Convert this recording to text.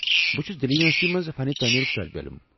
بہٕ چھُس دلہِ یوٗنیورسٹی منٛز فن تٲمیرُك طٲلب علم۔